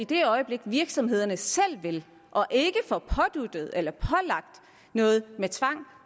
det øjeblik virksomhederne selv vil og ikke får påduttet eller pålagt noget med tvang